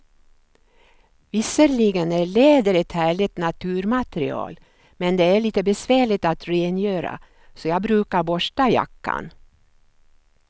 Visserligen är läder ett härligt naturmaterial, men det är lite besvärligt att rengöra, så jag brukar borsta jackan.